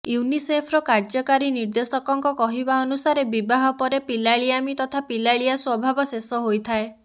ୟୁନିସେଫ୍ର କାର୍ଯ୍ୟକାରୀ ନିର୍ଦ୍ଦେଶକଙ୍କ କହିବା ଅନୁସାରେ ବିବାହ ପରେ ପିଲାଳିଆମି ତଥା ପିଲାଳିଆ ସ୍ବଭାବ ଶେଷ ହୋଇଥଟାଏ